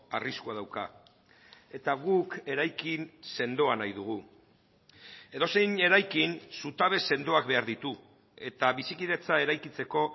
arriskua dauka eta guk eraikin sendoa nahi dugu edozein eraikin zutabe sendoak behar ditu eta bizikidetza eraikitzeko